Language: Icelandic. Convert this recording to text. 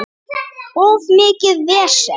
Of mikið vesen.